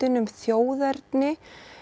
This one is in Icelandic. um þjóðerni